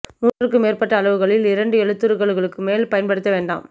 மூன்று க்கும் மேற்பட்ட அளவுகளில் இரண்டு எழுத்துருக்களுக்கு மேல் பயன்படுத்த வேண்டாம்